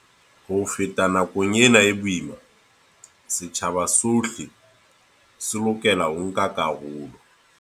Ho feta nakong ena e boima, setjhaba sohle se lokela ho nka karolo.